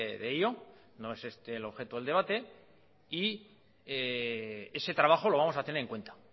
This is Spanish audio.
de ello no es este el objeto del debate y ese trabajo lo vamos a tener en cuenta